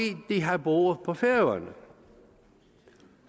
de har boet på færøerne